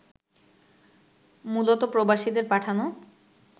মূলত প্রবাসীদের পাঠানো